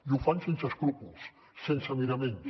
i ho fan sense escrúpols sense miraments